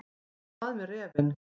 En hvað með refinn.